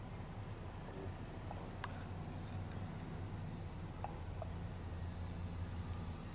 kokuqoqa kwesidoda ukuqoqwa